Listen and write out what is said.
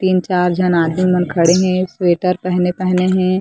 तीन चार झन आदमी मन खड़े हे स्वेटर पहने पहने हे ।--